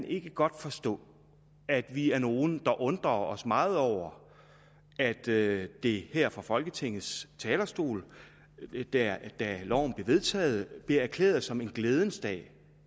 ikke godt forstå at vi er nogle der undrer os meget over at det det her fra folketingets talerstol da loven blev vedtaget blev erklæret som en glædens dag